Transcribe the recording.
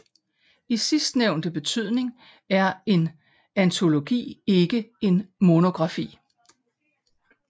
I sidstnævnte betydning er en antologi ikke en monografi